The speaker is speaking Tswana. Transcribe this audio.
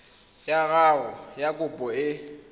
ya gago ya kopo e